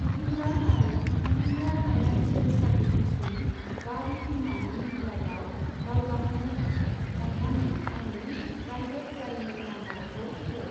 महिन्द्रा आरो महिन्द्रा फाइनान्सियेल सार्भिसेसनि गारि बीमानि बिलाइयाव दावगाहोनो थाखाय अन्नानै आंनि प्राइभेट गारिनि नम्बरखौ हो।